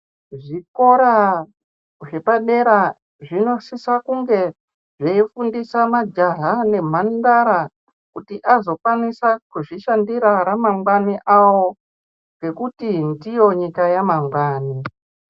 Zvikora zvepa dera zvino sisa kunge zvei zvifundise majaha ne mandara kuti azokwanisa kuzvi shandira ra mangwani avo nekuti ndiyo nyika ya mangwani.